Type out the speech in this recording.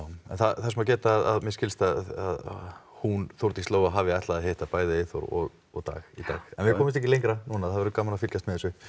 þess má geta að mér skilst að hún Þórdís Lóa hafi ætlað að hitta bæði Eyþór og og Dag í dag en við komumst ekki lengra það verður gaman að fylgjast með þessu